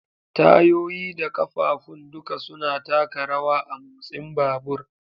Tayoyi da ƙafafun duka suna taka rawa a motsin babur.